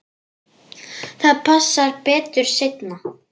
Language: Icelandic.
Það passar betur seinna.